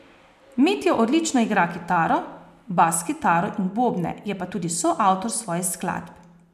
Mitja odlično igra kitaro, bas kitaro in bobne, je pa tudi soavtor svojih skladb.